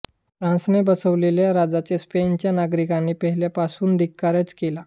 फ्रांसने बसवलेल्या राजाचा स्पेनच्या नागरिकांनी पहिल्यापासून धिक्कारच केला